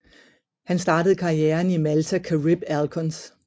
Han startede karrieren i Malta Carib Alcons